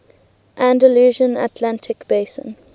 andalusian atlantic basin